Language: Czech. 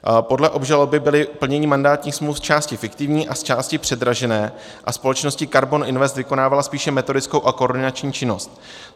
Podle obžaloby bylo plnění mandátních smluv zčásti fiktivní a zčásti předražené a společnost KARBON INVEST vykonávala spíše metodickou a koordinační činnost.